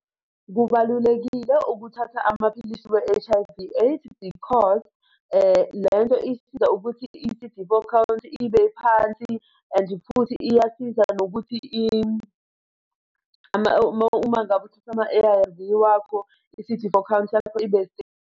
Kubalulekile ukuthatha amaphilisi we-H_I_V AIDS because lento isiza ukuthi i-C_D four count ibe phansi, and futhi iyasiza nokuthi uma ngabe uthatha ama-A_R_V wakho, i-C_D four count yakho ibe .